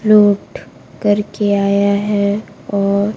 लौट करके आया है और--